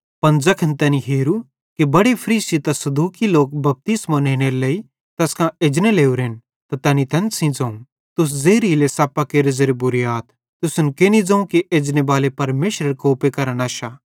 पन ज़ैखन तैनी हेरू कि बड़े फरीसी ते सदूकी लोक बपतिस्मो नेनेरे लेइ तैस कां एजने लोरेन त तैनी तैन सेइं ज़ोवं तुस ज़ेहरीले सप्पेरे ज़ेरे बुरे आथ तुसन केनि ज़ोवं कि एजनेबाले परमेशरेरे कोपे करां नश्शा